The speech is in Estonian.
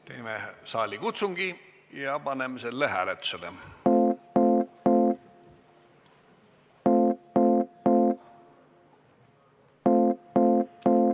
Teeme saalikutsungi ja paneme selle hääletusele.